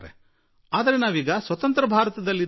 ಆದರೆ ಇಂದು ನಾವು ಸ್ವತಂತ್ರ ಭಾರತದಲ್ಲಿ ಇದ್ದೇವೆ